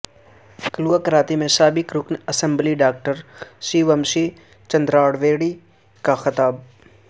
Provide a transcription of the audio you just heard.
کلواکرتی میں سابق رکن assembly doctor C Vamshi Chandrareddy کا خطاب